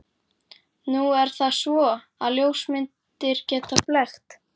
Nú er það svo, að ljósmyndir geta blekkt.